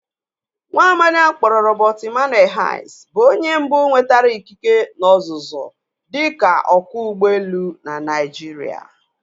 Nwaamadi a kpọrọ Robert Emmanuel Hayes bụ onye mbụ nwetara ịkịke na ọzụzụ dika ọkwọ ụgbọelu na Naijiria.